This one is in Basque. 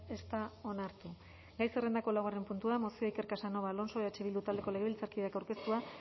ez da onartu gai zerrendako laugarren puntua mozioa iker casanova alonso eh bildu taldeko legebiltzarkideak aurkeztua